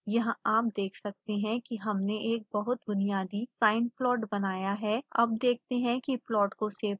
यहाँ आप देख सकते हैं कि हमने एक बहुत बुनियादी sine plot बनाया है अब देखते हैं कि प्लॉट को सेव कैसे करें